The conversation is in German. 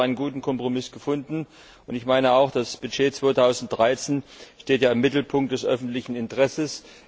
Ich denke, er hat einen guten Kompromiss gefunden, und ich meine auch, das Budget 2013 steht im Mittelpunkt des öffentlichen Interesses.